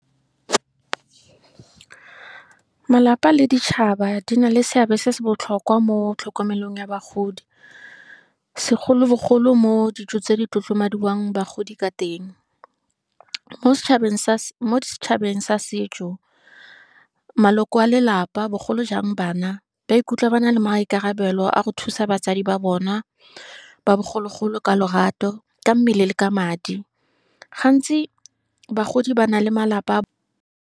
Malapa le ditšhaba di na le seabe se se botlhokwa mo tlhokomelong ya bagodi, segolobogolo mo dijong tse di tlotlomadiwang bagodi ka teng, mo setšhabeng sa setso, maloko a lelapa, bogolo jang bana, ba ikutlwa ba na le maikarabelo a go thusa batsadi ba bona, ba bogologolo ka lorato, ka mmele le ka madi. Gantsi bagodi bana le malapa.